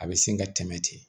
A bɛ sin ka tɛmɛ ten